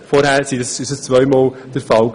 Davor geschah dies jeweils zweimal pro Jahr.